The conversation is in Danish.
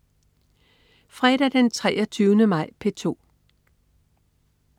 Fredag den 23. maj - P2: